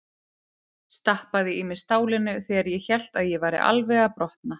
Stappaði í mig stálinu þegar ég hélt að ég væri alveg að brotna.